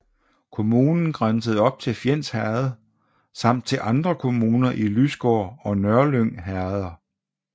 Kommunen grænsede op til Fjends Herred samt til andre kommuner i Lysgård og Nørlyng herreder